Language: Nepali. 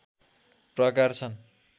प्रकार छन्